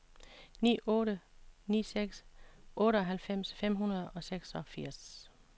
ni otte ni seks otteoghalvfems fem hundrede og seksogfirs